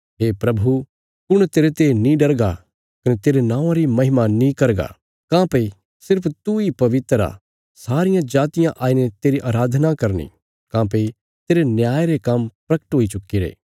हे प्रभु कुण तेरते नीं डरगा कने तेरे नौआं री महिमा नीं करगा काँह्भई सिर्फ तूई पवित्र आ सारियां जातियां आईने तेरी अराधना करनी काँह्भई तेरे न्याय रे काम्म प्रगट हुई चुक्कीरे